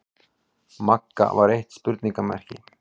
Magga var eitt spurningarmerki.